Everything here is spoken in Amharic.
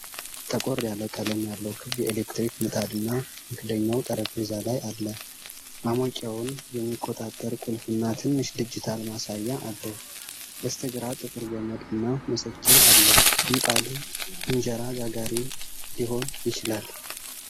ጠቆር ያለ ቀለም ያለው ክብ የኤሌክትሪክ ምጣድ እና መክደኛው ጠረጴዛ ላይ አለ። ማሞቂያውን የሚቆጣጠር ቁልፍና ትንሽ ዲጂታል ማሳያ አለው። በስተግራ ጥቁር ገመድ እና መሰኪያ አለ። ምጣዱ እንጀራ ጋጋሪ ሊሆን ይችላል።